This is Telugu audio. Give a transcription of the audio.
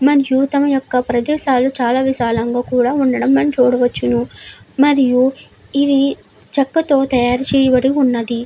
మన యొక్క ప్రదేశాలు చాల విశాలంగా కూడా ఉండడం మనం చూడవచ్చును మరియు ఇది చెక్కతో తయారు చేయబడి ఉన్నదీ.